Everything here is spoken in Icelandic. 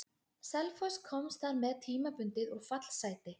Selfoss komst þar með tímabundið úr fallsæti.